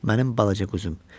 Mənim balaca quzum.